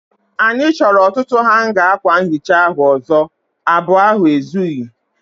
Anyị chọrọ ọtụtụ hanga akwa nhicha ahu ọzọ. Abụọ ahụ ezughị.